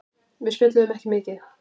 Við spjölluðum ekki mikið.